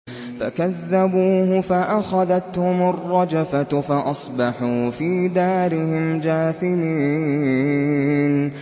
فَكَذَّبُوهُ فَأَخَذَتْهُمُ الرَّجْفَةُ فَأَصْبَحُوا فِي دَارِهِمْ جَاثِمِينَ